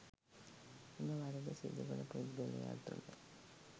එම වරද සිදු කළ පුද්ගලයා තුළ